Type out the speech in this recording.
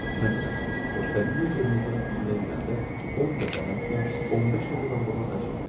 Məsələn, xoşbəxtlik qırmızının üzünə güləndə 10 dəfə, hətta 15 dəfə dalbadal əl çəkmir.